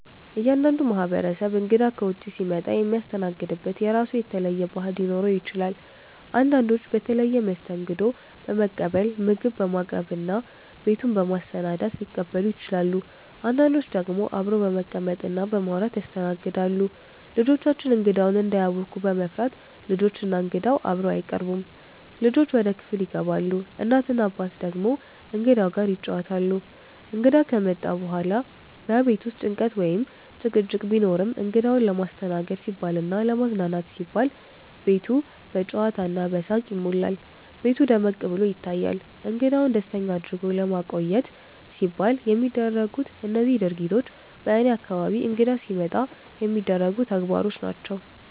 እያንዳንዱ ማህበረሰብ እንግዳ ከውጭ ሲመጣ የሚያስተናግድበት የራሱ የተለየ ባህል ሊኖረው ይችላል። አንዳንዶች በተለየ መስተንግዶ በመቀበል፣ ምግብ በማቅረብ እና ቤቱን በማሰናዳት ሊቀበሉ ይችላሉ። አንዳንዶች ደግሞ አብረው በመቀመጥ እና በማውራት ያስተናግዳሉ። ልጆቻችን እንግዳውን እንዳያውኩ በመፍራት፣ ልጆች እና እንግዳው በአንድ አይቀርቡም፤ ልጆች ወደ ክፍል ይገባሉ፣ እናት እና አባት ደግሞ እንግዳው ጋር ይጫወታሉ። እንግዳ ከመጣ በኋላ በቤት ውስጥ ጭንቀት ወይም ጭቅጭቅ ቢኖርም፣ እንግዳውን ለማስተናገድ ሲባልና ለማዝናናት ሲባል ቤቱ በጨዋታ እና በሳቅ ይሞላል፤ ቤቱ ደመቅ ብሎ ይታያል። እንግዳውን ደስተኛ አድርጎ ለማቆየት ሲባል የሚደረጉት እነዚህ ድርጊቶች በእኔ አካባቢ እንግዳ ሲመጣ የሚደረጉ ተግባሮች ናቸው።